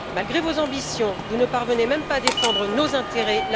Malgré vos ambitions, vous ne parvenez même pas à défendre nos intérêts.